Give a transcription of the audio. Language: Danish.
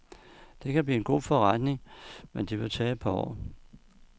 Det kan blive en god forretning, men det vil tage et par år.